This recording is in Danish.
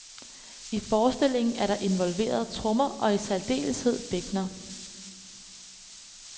I forestillingen er der involveret trommer og i særdeleshed bækkener.